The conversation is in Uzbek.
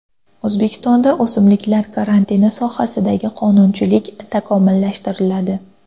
O‘zbekistonda o‘simliklar karantini sohasidagi qonunchilik takomillashtiriladi.